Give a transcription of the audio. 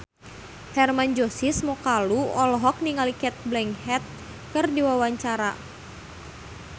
Hermann Josis Mokalu olohok ningali Cate Blanchett keur diwawancara